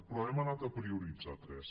però hem anat a prioritzar ne tres